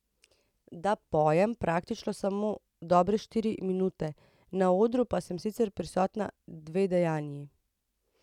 Da, pojem praktično samo dobre štiri minute, na odru pa sem sicer prisotna dve dejanji.